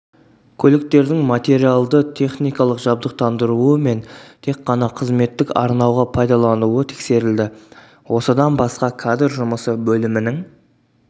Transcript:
көліктердің материалды-техникалық жабдықтандыруы мен тек қана қызметтік арнауға пайдалануы тексерілді осыдан басқа кадр жұмысы бөлімінің